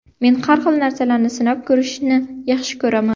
Men har xil narsalarni sinab ko‘rishni yaxshi ko‘raman.